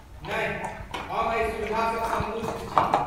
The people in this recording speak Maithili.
नहि, हम एहि सुविधासँ सन्तुष्ट छी।